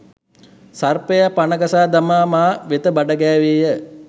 සර්පයා පණ ගසා දමා මා වෙත බඩගෑවේය.